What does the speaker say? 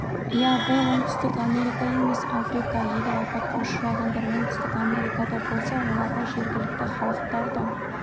иә бұл оңтүстік америка емес африка егер апатқа ұшырағандар оңтүстік америкада болса оларға жергілікті халықтар да